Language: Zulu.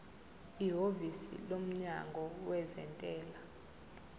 ihhovisi lomnyango wezentela